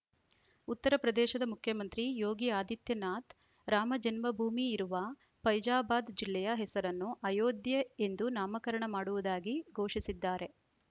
ಉತ್ತರ ಪ್ರದೇಶದ ಮುಖ್ಯಮಂತ್ರಿ ಯೋಗಿ ಆದಿತ್ಯನಾಥ್‌ ರಾಮಜನ್ಮಭೂಮಿ ಇರುವ ಫೈಜಾಬಾದ್‌ ಜಿಲ್ಲೆಯ ಹೆಸರನ್ನು ಅಯೋಧ್ಯೆ ಎಂದು ನಾಮಕರಣ ಮಾಡುವುದಾಗಿ ಘೋಷಿಸಿದ್ದಾರೆ